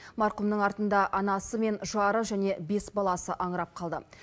марқұмның артында анасы мен жары және бес баласы аңырап қалды